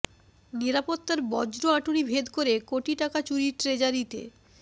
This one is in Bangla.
নিরাপত্তার বজ্র আঁটুনি ভেদ করে কোটি টাকা চুরি ট্রেজারিতে